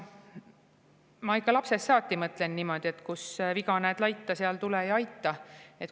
Ma ikka lapsest saati mõtlen niimoodi, et kus viga näed laita, seal tule ja aita.